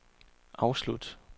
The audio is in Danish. afslut